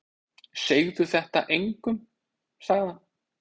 Segðu þetta engum sagði hann.